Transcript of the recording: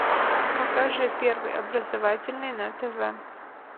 покажи первый образовательный на тв